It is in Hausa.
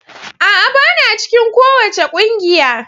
A'a! Bana cikin kowace kungiya.